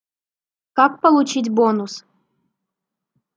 как получить бонус